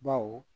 Baw